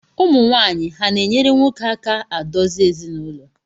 Ụmụwaanyị ha na-enyere nwoke aka adozi ezinụlọ?